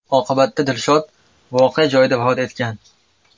Oqibatda Dilshod voqea joyida vafot etgan.